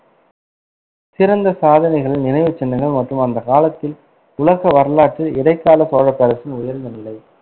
சிறந்த சாதனைகளின் நினைவுச்சின்னங்கள் மற்றும் அந்த காலத்தில் உலக வரலாற்றில் இடைக்கால சோழப் பேரரசின் உயர்ந்த நிலை.